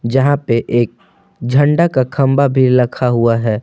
यहां पे एक झंडा का खंभा भी लखा हुआ है।